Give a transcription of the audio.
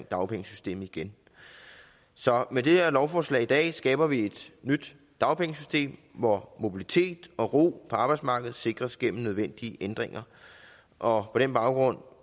dagpengesystemet igen så med det her lovforslag i dag skaber vi et nyt dagpengesystem hvor mobilitet og ro på arbejdsmarkedet sikres gennem nødvendige ændringer og på den baggrund